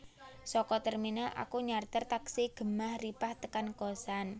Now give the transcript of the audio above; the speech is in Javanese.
Soko terminal aku nyarter taksi Gemah Ripah tekan kosan